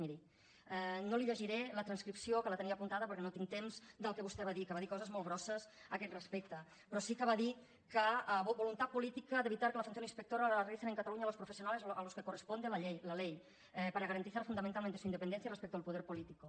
miri no li llegiré la transcripció que la tenia apuntada perquè no tinc temps del que vostè va dir que va dir coses molt grosses a aquest respecte però sí que va dir voluntad política para evitar que la función inspectora la realicen en cataluña los profesionales a los que corresponde la ley para garantizar fundamentalmente su independencia respecto al poder político